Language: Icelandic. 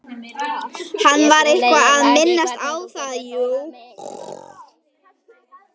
Hann var eitthvað að minnast á það, jú.